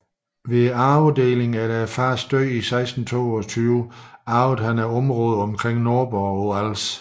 Ved arvedlingen efter faderens død i 1622 arvede han området omkring Nordborg på Als